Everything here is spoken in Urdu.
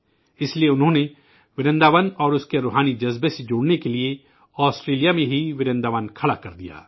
اس لئے انہوں نے ورنداون اور اس کے روحانی اثر سے جڑنے کے لیے، آسٹریلیا میں ہی ورنداون کھڑا کردیا